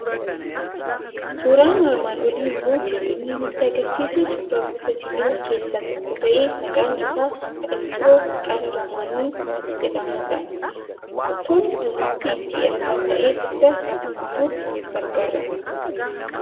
Suuraan armaan olii immoo kan inni nutti argisiisu suura gosa sibiilaa keessaa tokko ta'e, maqaan isaa qottoo qara lamaanii jedhamudha. Qottoon kun mukti itti erga ta'ee booda lafa qotuuf gargaara.